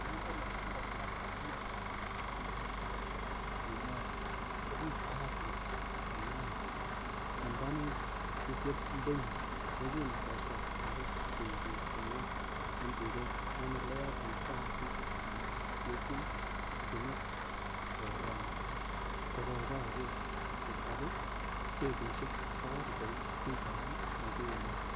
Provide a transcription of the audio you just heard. Tienindet nebo Murot Tai en emetab bik che tuen nekiguren Percy Maimela, kokiig bahati kityok konaan en konunotiondenyin, yekin kosertage chumbik en gwony en tuget en ele yoen kasit ak yekin kotieme koroom ko koger kochobe shepishek kowal koik pichainik ingunon.